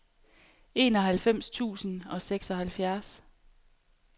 enoghalvfems tusind og seksoghalvfjerds